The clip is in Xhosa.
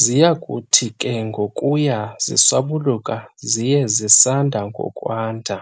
Ziyakuthi ke ngokuya ziswabuluka ziye zisanda ngokwanda,